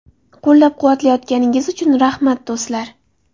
Qo‘llab-quvvatlayotganingiz uchun rahmat, do‘stlar.